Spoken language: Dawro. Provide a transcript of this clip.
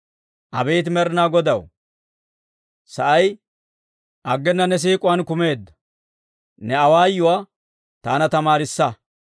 Abeet Med'inaa Godaw, sa'ay aggena ne siik'uwaan kumeedda; ne awaayuwaa taana tamaarissa.